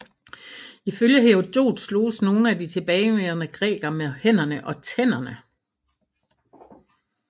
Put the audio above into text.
Ifølge Herodot sloges nogle af de tilbageværende grækere med hænderne og tænderne